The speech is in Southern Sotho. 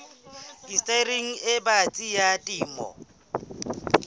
indastering e batsi ya temo